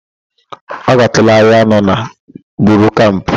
Ọ gatụụla ahịa ahụ nọ na Bori Kamp?